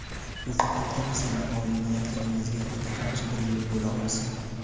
Bu faqatgina sizni oliy niyatlaringizga yetaklovchi bir yo‘l bo‘la olsin.